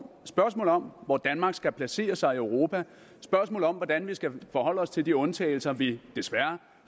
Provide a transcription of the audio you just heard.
spørgsmål om hvor danmark skal placere sig i europa spørgsmål om hvordan vi skal forholde os til de undtagelser vi desværre